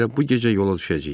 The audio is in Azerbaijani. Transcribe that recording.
Elə bu gecə yola düşəcəyik.